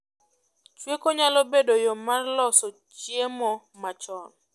Chweko nyalo bedo yoo mar loso chiemo machon